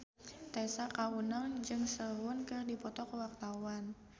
Tessa Kaunang jeung Sehun keur dipoto ku wartawan